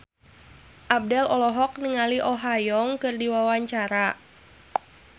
Abdel olohok ningali Oh Ha Young keur diwawancara